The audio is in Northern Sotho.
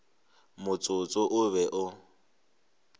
motsotso wo o be o